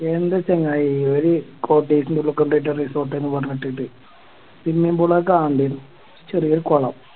എൻ്റെ ചങ്ങായി ഒരു Cottage ൻറെ ഉള്ള് കൊണ്ടേട്ട് Resort ന്ന് പറഞ്ഞ് വിട്ടിട്ട് പിന്നെ എന്തിന്ന കാണണ്ടേ ചെറിയ കൊളം